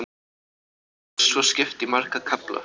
Hverjum bálki er svo skipt í marga kafla.